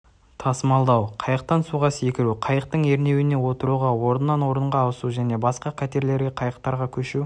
тасымалдау қайықтан суға секіру қайықтың ернеулеріне отыруға орыннан орынға ауысу және басқа катерлерге қайықтарға көшу